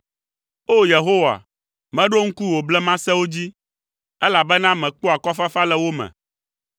O! Yehowa, meɖo ŋku wò blemasewo dzi, elabena mekpɔa akɔfafa le wo me.